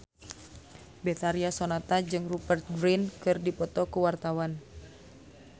Betharia Sonata jeung Rupert Grin keur dipoto ku wartawan